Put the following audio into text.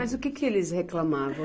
Mas o que que eles reclamavam?